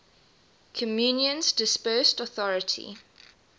communion's dispersed authority